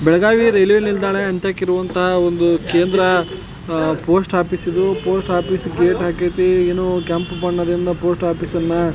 Belagavi railway ನಿಲ್ದಾಣ ಅಂತಾಕ್ ಇರುವಂತಹ ಒಂದು ಕೇಂದ್ರ ಪೋಸ್ಟ್ ಆಫೀಸ್ ಇದು ಪೋಸ್ಟ್ ಆಫೀಸ್ ಗೇಟ್ ಹಾಕೈತಿ ಏನೋ ಕೆಂಪ್ ಬಣ್ಣದಿಂದ ಪೋಸ್ಟ್ ಆಫೀಸ್ ಅನ್ನ --